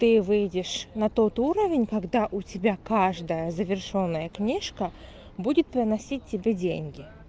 ты выйдешь на тот уровень когда у тебя каждая завершённая книжка будет выносить тебе деньги